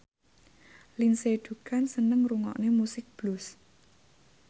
Lindsay Ducan seneng ngrungokne musik blues